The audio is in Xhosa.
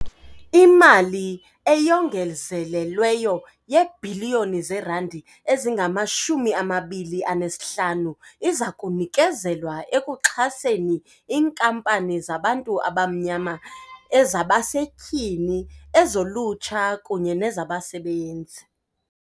Imali eyongezelelweyo yeebhiliyoni zeerandi ezingama-25 izakunikezelwa ekuxhaseni iinkampani zabantu abamnyama, ezabasetyhini, ezolutsha kunye nezabasebenzi.